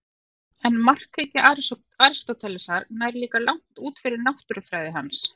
En markhyggja Aristótelesar nær líka langt út fyrir náttúrufræði hans.